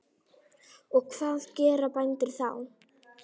Og hvað gera bændur þá?